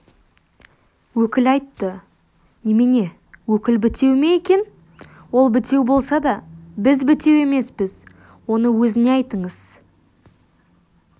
өкіл айтты немене өкіл бітеу ме екен ол бітеу болса да біз бітеу емеспіз оны өзіне айтыңыз